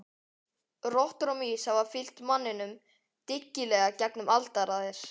Rottur og mýs hafa fylgt manninum dyggilega gegnum aldaraðir.